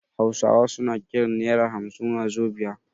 Hausawa suna kiran naira hamsin wazobia